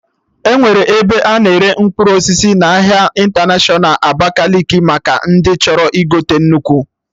Enwere ebe a na-ere mkpụrụ osisi n'ahịa ịntanatiọna Abakaliki maka ndị chọrọ igote nnukwu